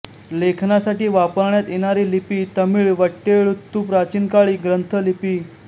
लेखनासाठी वापरण्यात येणारी लिपी तमिळ वट्टेळुत्तु प्राचीनकाळी ग्रंथ लिपी